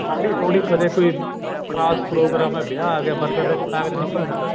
ਹਾੜੀ ਹੁਡੀ ਕਦੇ ਕੋਈ ਖਾਸ ਪ੍ਰੋਗਰਾਮ ਆ ਵਿਆਹ ਆਗਿਆ ਮਰ੍ਗਦ ਤਾਂ ਕਿਤੇ ਨਿਕਲ ਹੁੰਦਾ